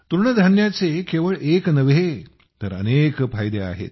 तृणधान्याचे केवळ एक नव्हे तर अनेक फायदे आहेत